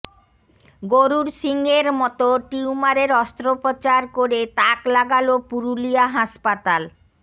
গরুর শিংয়ে মতো টিউমারের অস্ত্রোপচার করে তাক লাগাল পুরুলিয়া হাসপাতাল